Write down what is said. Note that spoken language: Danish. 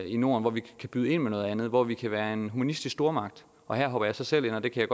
i norden hvor vi kan byde ind med noget andet og hvor vi kan være en humanistisk stormagt og her hopper jeg så selv ind og det kan